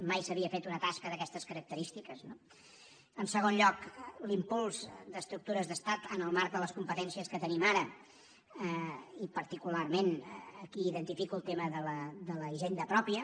mai s’havia fet una tasca d’aquestes característiques no en segon lloc l’impuls d’estructures d’estat en el marc de les competències que tenim ara i particularment aquí identifico el tema de la hisenda pròpia